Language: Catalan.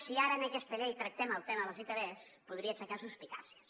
si ara en aquesta llei tractem el tema de les itvs podria aixecar suspicàcies